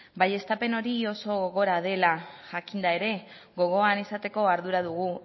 baieztapen hori oso gogorra dela jakinda ere gogoan izateko ardura dugu